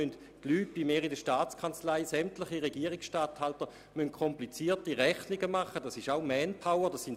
In der Staatskanzlei müssen für alle 350 Gemeinden komplizierte Abrechnungen vorgenommen werden.